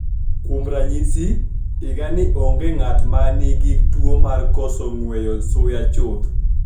Kuom raniyisi, higanii onige nig'ato ma niigi tuwo mar koso nigweyo suya chutho.